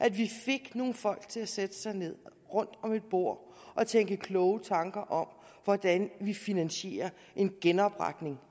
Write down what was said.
at vi fik nogle folk til at sætte sig ned rundt om et bord og tænke kloge tanker om hvordan vi finansierer en genopretning